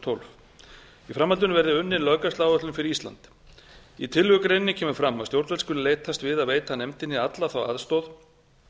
tólf í framhaldinu verði unnin löggæsluáætlun fyrir ísland í tillögugreininni kemur fram að stjórnvöld skuli leitast við að veita nefndinni alla þá aðstoð